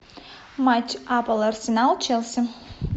матч апл арсенал челси